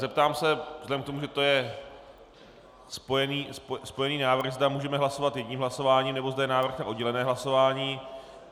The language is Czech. Zeptám se, vzhledem k tomu, že to je spojený návrh, zda můžeme hlasovat jedním hlasováním, nebo zda je návrh na oddělené hlasování.